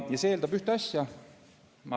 See eeldab ühte asja.